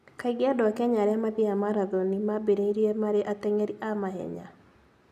Kaingĩ andũ a Kenya arĩa mathiaga marathoni mambĩrĩria marĩ ateng'eri a mahenya.